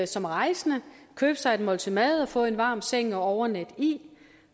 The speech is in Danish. som rejsende købe sig et måltid mad og få en varm seng at overnatte i